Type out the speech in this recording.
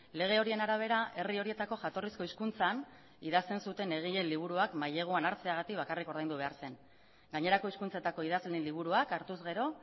lege horien arabera herri horietako jatorrizko hizkuntzan idazten zuten egileen liburuak maileguan hartzeagatik bakarrik ordaindu behar zen gainerako hizkuntzetako idazleen liburuak hartuz gero